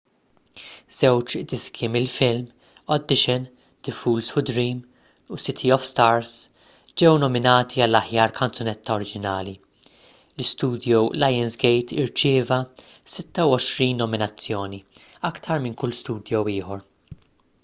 żewġ diski mill-film audition the fools who dream u city of stars ġew nominati għall-aħjar kanzunetta oriġinali. l-istudio lionsgate irċieva 26 nominazzjoni — aktar minn kull studio ieħor